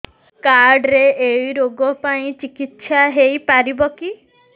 card ରେ ଏଇ ରୋଗ ପାଇଁ ଚିକିତ୍ସା ହେଇପାରିବ କି